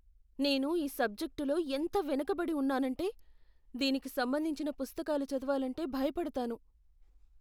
నేను ఈ సబ్జెక్టులో ఎంత వెనుకబడి ఉన్నానంటే, దీనికి సంబంధించిన పుస్తకాలు చదవాలంటే భయపడతాను.